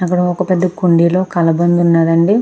అక్కడ ఒక పెద్ధ కుండీలో కలబంద ఉన్నాదండి.